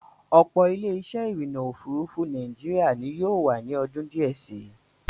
Ọ̀pọ̀ Ilé-isẹ́ ìrìnnà òfurufú Nàìjíríà ni yóò wà ní ọdún díẹ̀ sí.